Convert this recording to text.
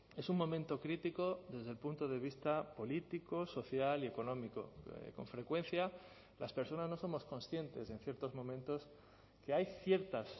es un momento crítico desde el punto de vista político social y económico con frecuencia las personas no somos conscientes en ciertos momentos que hay ciertas